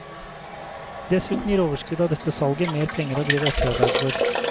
Dessuten gir overskuddet av dette salget mer penger å drive etterarbeid for.